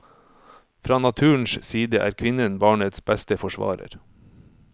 Fra naturens side er kvinnen barnets beste forsvarer.